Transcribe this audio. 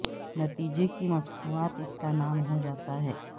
نتیجے کی مصنوعات اس کا نام ہو جاتا ہے